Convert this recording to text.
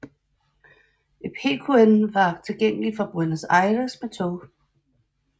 Epecuén var tilgængelig fra Buenos Aires med tog